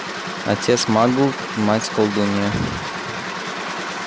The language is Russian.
отец магл мать колдунья